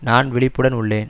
நான் விழிப்புடன் உள்ளேன்